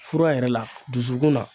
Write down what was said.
Fura yɛrɛ la dusukun na